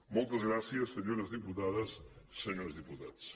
moltes gràcies senyores diputades i senyors diputats